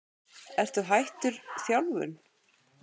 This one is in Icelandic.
Ertu hættur þjálfun?